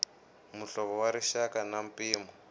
muhlovo wa rixaka na mpimo